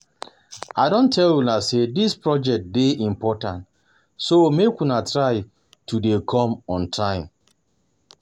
I don tell una say dis project dey important so make una try to dey come on time